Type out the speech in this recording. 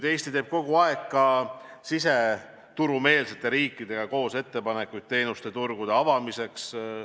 Eesti teeb kogu aeg ka koos siseturumeelsete riikidega ettepanekuid teenuseturu avamiseks.